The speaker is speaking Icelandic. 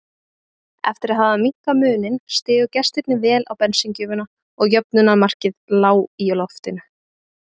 Eftir að hafa minnkað muninn stigu gestirnir vel á bensíngjöfina og jöfnunarmarkið lá í loftinu.